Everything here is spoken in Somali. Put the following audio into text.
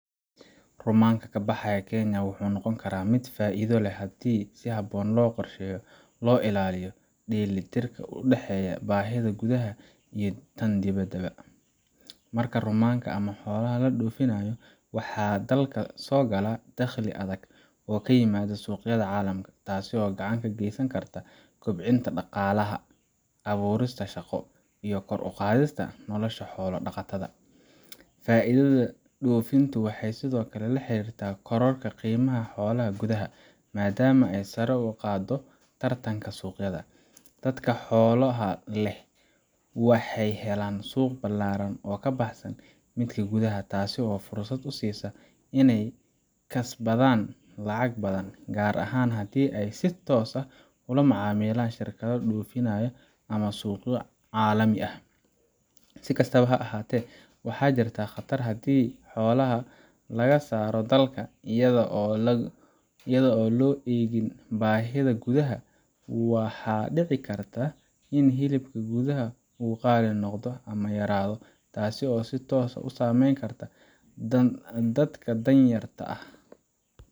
Rumanka ka baxaya Kenya wuxuu noqon karaa mid faa'iido leh haddii si habboon loo qorsheeyo oo loo ilaaliyo dheelitirka u dhexeeya baahida gudaha iyo tan dibadda ba. Marka rumanka ama xoolaha la dhoofinayo, waxaa dalka soo gala dakhli adag oo ka yimaada suuqyada caalamka, taasoo gacan ka geysan karta kobcinta dhaqaalaha, abuurista shaqo, iyo kor u qaadista nolosha xoolo dhaqatada. Faa'iidada dhoofintu waxay sidoo kale la xiriirtaa kororka qiimaha xoolaha gudaha, maadaama ay sare u qaaddo tartanka suuqyada. Dadka xoolaha leh waxay helaan suuq ballaaran oo ka baxsan midka gudaha, taasoo fursad u siisa inay kasbadaan lacago badan, gaar ahaan haddii ay si toos ah ula macaamilaan shirkado dhoofinaya ama suuqyo caalami ah. Si kastaba ha ahaatee, waxaa jirta khatar haddii xoolaha laga saaro dalka iyada oo aan loo eegin baahida gudaha. Waxaa dhici karta in hilibka gudaha uu qaali noqdo ama yaraado, taasoo si toos ah u saameyn karta dadka dan yarta ah.